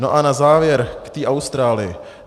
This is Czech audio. No a na závěr k té Austrálii.